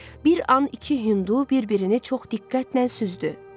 Bir an iki Hindu bir-birini çox diqqətlə süzdü.